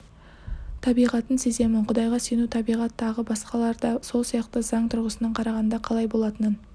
табиғатын сеземін құдайға сену табиғат тағы басқалар да сол сияқты заң тұрғысынан қарағанда қалай болатынын